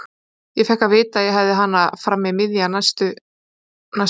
Ég fékk að vita að ég hefði hana fram í miðjan næsta mánuð.